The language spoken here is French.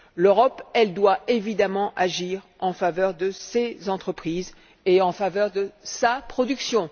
L'Europe, elle doit évidemment agir en faveur de ses entreprises, en faveur de sa production.